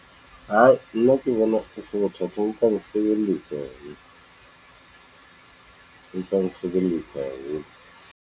Hai, nna ke bona e se bothata ho tla nsebeletsa haholo. E tlo nsebeletsa haholo.